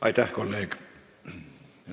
Aitäh, kolleeg!